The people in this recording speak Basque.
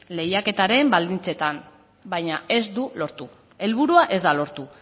lehiaketaren baldintzetan baina ez du lortu helburua ez da lortu